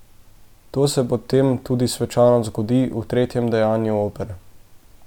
To se potem tudi svečano zgodi v tretjem dejanju opere.